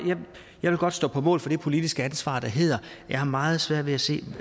vil godt stå på mål for det politiske ansvar der hedder at jeg har meget svært ved at se